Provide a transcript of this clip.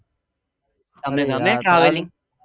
તમને ગમે travelling